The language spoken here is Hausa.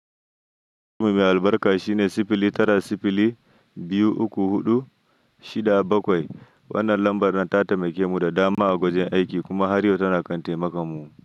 Nombanmu mai albarka shine sifili tara, sifili biyu, uku, huɗu, shida, bakwai. Wannan lambar nan ta taimake mu da dama a gurin aiki kuma har yau tana kan taimakan mu.